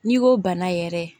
N'i ko bana yɛrɛ